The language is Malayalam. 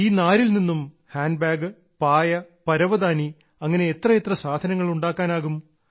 ഈ നാരിൽ നിന്നും ഹാൻഡ്ബാഗ് പായ് പരവതാനി അങ്ങനെ എത്രയെത്ര സാധനങ്ങൾ ഉണ്ടാക്കാനാകും